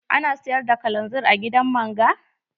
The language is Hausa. Ana siyar da kalanzir a gidan man ga?